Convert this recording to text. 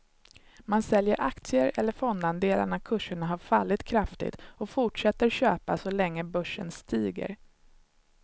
Man säljer aktier eller fondandelar när kurserna har fallit kraftigt och fortsätter köpa så länge börsen stiger.